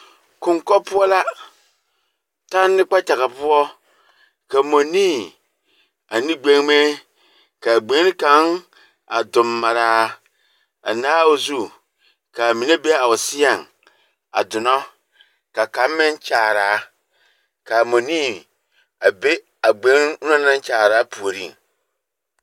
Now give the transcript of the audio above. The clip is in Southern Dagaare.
Koŋkͻ poͻ la tanne kpakyaga poͻ, ka mͻnii ane gbeŋime. Ka a gbeŋini kaŋ a dommaraa a naabo zu, ka a mine be a o seԑŋ a donͻ ka kaŋ meŋ kyaaraa. Ka a mͻnii a be a gbeŋini onaŋ naŋ kyaaraa puoriŋ.